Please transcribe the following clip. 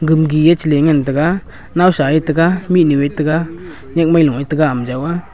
gam gi chalin ngan taga nowsa taga minu taga yakmai lung taga ama joia.